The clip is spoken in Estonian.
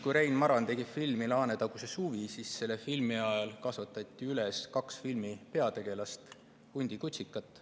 Kui Rein Maran tegi filmi "Laanetaguse suvi", siis selle filmi tegemise ajal kasvatati üles kaks peategelast – hundikutsikat.